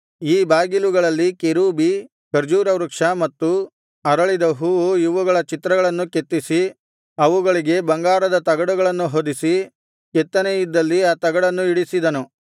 ಈ ಬಾಗಿಲುಗಳಲ್ಲಿ ಕೆರೂಬಿ ಖರ್ಜೂರವೃಕ್ಷ ಮತ್ತು ಅರಳಿದ ಹೂವು ಇವುಗಳ ಚಿತ್ರಗಳನ್ನು ಕೆತ್ತಿಸಿ ಅವುಗಳಿಗೆ ಬಂಗಾರದ ತಗಡನ್ನು ಹೊದಿಸಿ ಕೆತ್ತನೆಯಿದ್ದಲ್ಲಿ ಆ ತಗಡನ್ನು ಇಡಿಸಿದನು